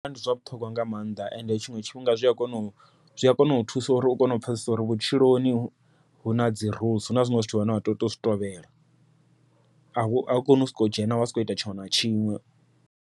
Ndi zwa vhuṱhogwa nga maanḓa ende tshiṅwe tshifhinga zwi a kona u, zwi a kona u thusa uri u kone u pfhesesa uri vhutshiloni huna dzi huna zwiṅwe zwithu zwine wa tea utou zwi tovhela au koni u soko dzhena wa sokou ita tshiṅwe na tshiṅwe.